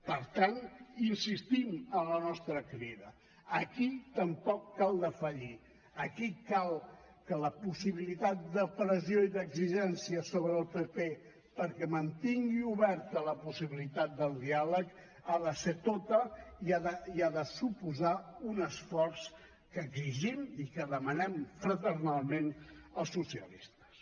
per tant insistim en la nostra crida aquí tampoc cal defallir aquí cal que la possibilitat de pressió i d’exigència sobre el pp perquè mantingui oberta la possibilitat del diàleg ha de ser tota i ha de suposar un esforç que exigim i que demanem fraternalment als socialistes